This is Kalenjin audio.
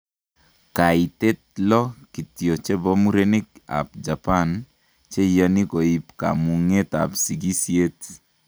Kaitet 6 kityo chebo murenik ab Japan cheyani koib kamungetab sikisyeet